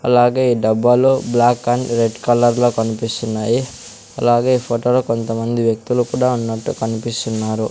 అలాగే ఈ డబ్బాలో బ్లాక్ అండ్ రెడ్ కలర్ లో కనిపిస్తున్నాయి అలాగే ఈ ఫోటో లో కొంతమంది వ్యక్తులు కూడా ఉన్నట్టు కనిపిస్తున్నారు.